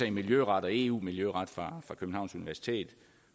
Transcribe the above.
i miljøret og eu miljøret